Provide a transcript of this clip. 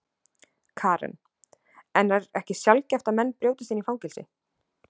Karen: En er ekki sjaldgæft að menn brjótist inn í fangelsi?